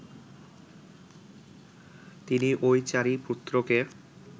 তিনি ঐ চারি পুত্রকে